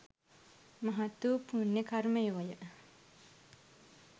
මහත් වූ පුණ්‍ය කර්මයෝය.